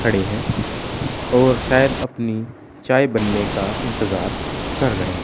खड़े हैं और शायद अपनी चाय बनने का इंतजार कर रहे हैं।